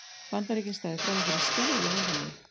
Bandaríkin stæðu frammi fyrir skelfilegu vandamáli